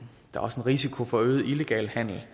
risiko for øget illegal handel